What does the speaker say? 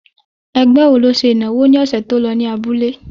Ẹgbẹ́ ló ṣe ìnáwó ní ọ̀sẹ̀ tí ó lọ ní abúlé?